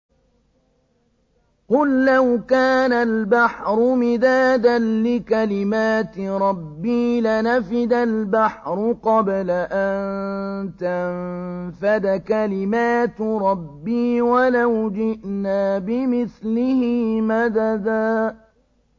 قُل لَّوْ كَانَ الْبَحْرُ مِدَادًا لِّكَلِمَاتِ رَبِّي لَنَفِدَ الْبَحْرُ قَبْلَ أَن تَنفَدَ كَلِمَاتُ رَبِّي وَلَوْ جِئْنَا بِمِثْلِهِ مَدَدًا